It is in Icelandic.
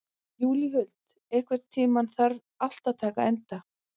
Júlíhuld, einhvern tímann þarf allt að taka enda.